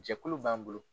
Jɛkulu b'an bolo